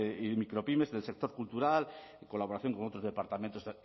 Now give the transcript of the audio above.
y micropymes del sector cultural en colaboración con otros departamentos